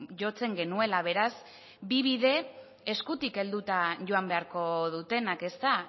jotzen genuela beraz bi bide eskutik helduta joan beharko dutenak ezta